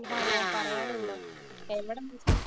ഹോ ഹോ പറയാനുണ്ടോ. എവിടെ നോക്കി